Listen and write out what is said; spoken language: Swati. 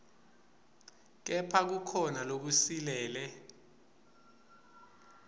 kepha kukhona lokusilele